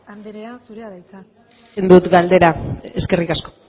andrea zurea da hitza egin dut galdera eskerrik asko